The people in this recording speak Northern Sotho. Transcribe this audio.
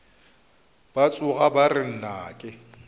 ba tšhoga ba re nnake